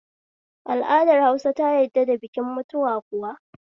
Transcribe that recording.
Al'adar Hausa ta yadd da bikin mutuwa kuwa?